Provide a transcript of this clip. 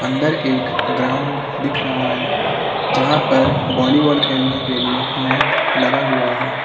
अंदर एक ग्राउंड दिख रहा है यहां पर वॉलीबॉल खेलने के लिए नेट लगा हुआ है।